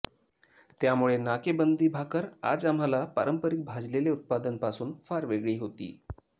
त्यामुळे नाकेबंदी भाकर आज आम्हांला पारंपारिक भाजलेले उत्पादन पासून फार वेगळी होती